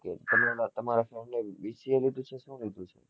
તમે ઓલા તમારા friend એ bca નું